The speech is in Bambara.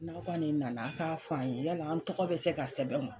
N'a' kɔni nana a' k'a fɔ an ye yala an tɔgɔ bɛ se ka sɛbɛn wa?